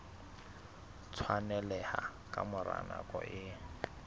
tshwaneleha ka mora nako e